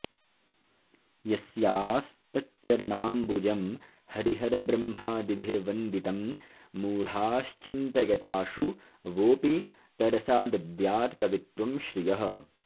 यस्यास्तच्चरणाम्बुजं हरिहरब्रह्मादिभिर्वन्दितं मूढाश्चिन्तयताशु वोऽपि तरसा दद्यात् कवित्वं श्रियः